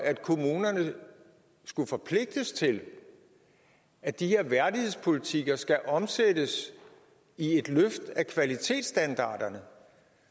at kommunerne skulle forpligtes til at de her værdighedspolitikker skal omsættes i et løft af kvalitetsstandarderne